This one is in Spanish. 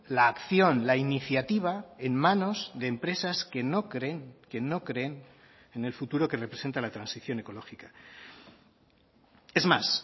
la acción la iniciativa en manos de empresas que no creen que no creen en el futuro que representa la transición ecológica es más